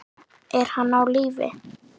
Er hann á lífi?